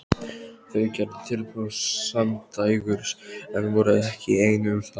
Þau gerðu tilboð samdægurs en voru ekki ein um það.